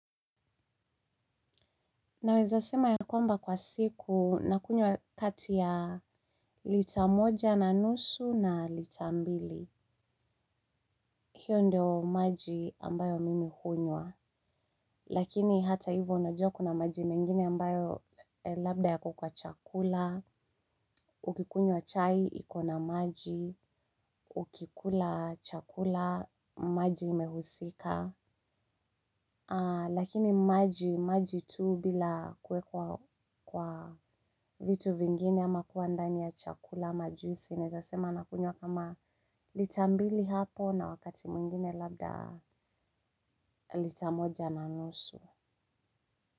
Naweza sema ya kwamba kwa siku na kunywa kati ya litamoja na nusu na lita mbili. Hiyo ndio maji ambayo mimi hunywa. Lakini hata hivyo unajua kuna maji mengine ambayo labda yako kwa chakula. Ukikunywa chai, iko na maji. Ukikula chakula, maji imehusika. Lakini maji tu bila kuwekwa kwa vitu vingine ama kuwa ndani ya chakula ama juisi. Nawezasema nakunywa kama lita mbili hapo. Na wakati mwingine labda litamoja na nusu.